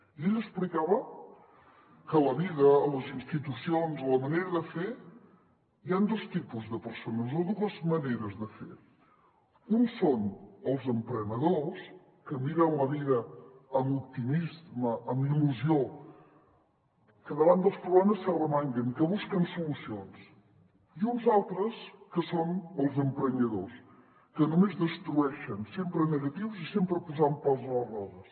i ell explicava que a la vida a les institucions a la manera de fer hi han dos tipus de persones o dues maneres de fer uns són els emprenedors que miren la vida amb optimisme amb il·lusió que davant dels problemes s’arremanguen i que busquen solucions i uns altres que són els emprenyadors que només destrueixen sempre negatius i sempre posant pals a les rodes